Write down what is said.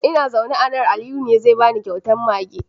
Ina zaune a nan, Aliyu ne zai bani kyautar mage.